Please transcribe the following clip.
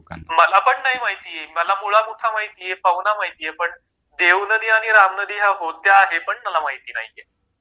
मला पण नाही माहिती मला मुळा मुठा माहितीये पवना माहितीये पण देव नदी आणि राम नदी होत्या हे पण मला माहिती नाहीये